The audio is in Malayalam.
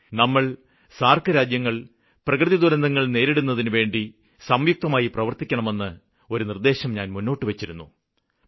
നമ്മള് ടഅഅഞഇ രാജ്യങ്ങള് പ്രകൃതിദുരന്തങ്ങള് നേരിടുന്നതിനുവേണ്ടി സംയുക്തമായി പ്രവര്ത്തിക്കണമെന്ന ഒരു നിര്ദ്ദേശം ഞാന് മുന്നോട്ടു വച്ചിരുന്നു